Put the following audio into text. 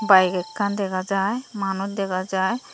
bike ekkan dega jai manuj dega jai.